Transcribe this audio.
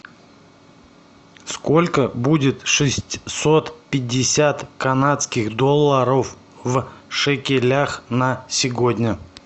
сколько будет шестьсот пятьдесят канадских долларов в шекелях на сегодня